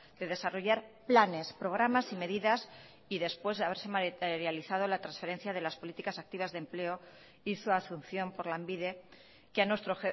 de desarrollar planes programas y medidas y después de haberse materializado la transferencia de las políticas activas de empleo y su asunción por lanbide que a nuestro